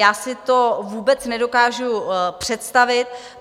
Já si to vůbec nedokážu představit.